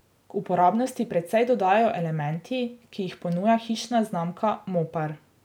K uporabnosti precej dodajo elementi, ki jih ponuja hišna znamka Mopar.